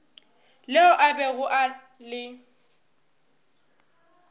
leo a bego a le